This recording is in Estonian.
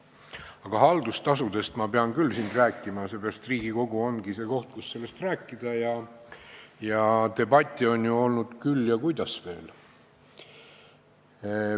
Aga haldustasudest ma pean siin küll rääkima, seepärast et Riigikogu ongi see koht, kus sellest rääkida, ja debatte on ju olnud, kuidas veel.